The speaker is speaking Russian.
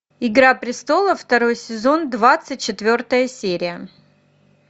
игра престолов второй сезон двадцать четвертая серия